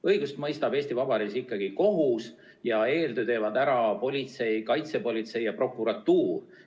Õigust mõistab Eesti Vabariigis ikkagi kohus, eeltöö teevad aga ära politsei, kaitsepolitsei ja prokuratuur.